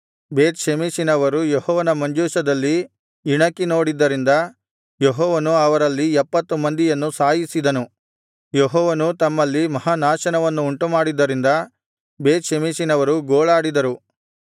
ಬೇತ್ ಷೆಮೆಷಿನವರು ಯೆಹೋವನ ಮಂಜೂಷದಲ್ಲಿ ಇಣಕಿ ನೋಡಿದ್ದರಿಂದ ಯೆಹೋವನು ಅವರಲ್ಲಿ ಎಪ್ಪತ್ತು ಮಂದಿಯನ್ನು ಸಾಯಿಸಿದನು ಯೆಹೋವನು ತಮ್ಮಲ್ಲಿ ಮಹಾನಾಶನವನ್ನು ಉಂಟುಮಾಡಿದ್ದರಿಂದ ಬೇತ್ ಷೆಮೆಷಿನವರು ಗೋಳಾಡಿದರು